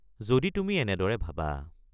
যদি তুমি এনেদৰে ভাবা।